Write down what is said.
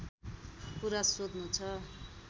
कुरा सोध्नु छ